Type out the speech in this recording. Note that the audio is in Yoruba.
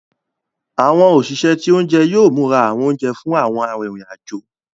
Àwọn òṣìṣẹ́ ti oúnjẹ yóò múra àwọn oúnjẹ fún àwọn arinrin-ajo.